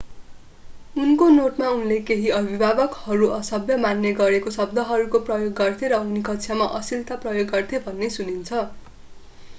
उनको नोटमा उनले केही अभिभावकहरू असभ्य मान्ने गरेका शब्दहरूको प्रयोग गर्थे र उनी कक्षामा अश्‍लिलता प्रयोग गर्थे भन्ने सुनिन्छ।